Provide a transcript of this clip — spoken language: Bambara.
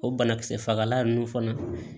O banakisɛ fagalan ninnu fana